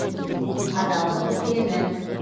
адалдық дүкені